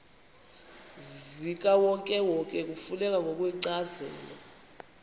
zikawonkewonke kufuneka ngokwencazelo